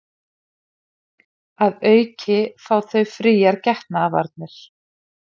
Að auki fá þau fríar getnaðarvarnir